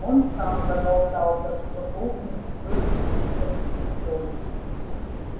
он сам проболтался что должен был учиться в интоне